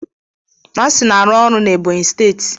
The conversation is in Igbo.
Nancy na-arụ ọrụ na Ebonyi steeti